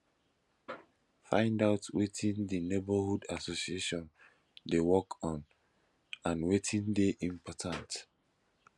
find out wetin di neighbourhood association dey work on and wetin dey important